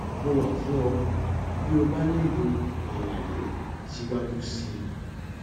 mo wà fún ọ bí o bá nílò àlàyé síwájú sí i